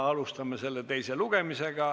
Alustame selle teist lugemist.